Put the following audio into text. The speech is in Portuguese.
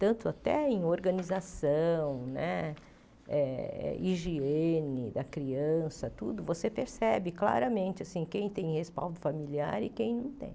Tanto até em organização né eh, higiene da criança tudo, você percebe claramente assim quem tem respaldo familiar e quem não tem.